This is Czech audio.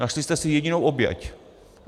Našli jste si jedinou oběť.